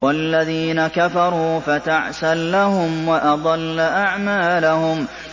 وَالَّذِينَ كَفَرُوا فَتَعْسًا لَّهُمْ وَأَضَلَّ أَعْمَالَهُمْ